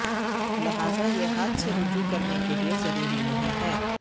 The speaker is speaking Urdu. لہذا یہ ہاتھ سے رجوع کرنے کے لئے ضروری نہیں ہے